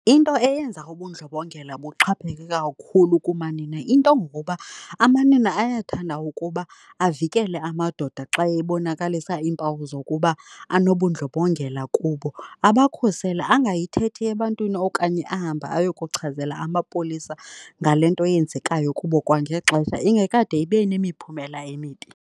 Into eyenza ubundlobongela buxhapheke kakhulu kumanina, into ngokuba amanina ayathanda ukuba avikele amadoda xa ebonakalisa iimpawu zokuba anobundlonbongela kubo, abakhusele angayithethi ebantwini okanye ahambe ayokuchazela amapolisa ngale nto iyenzekayo kubo kwangexesha ingekade ibe nemiphumela emibi.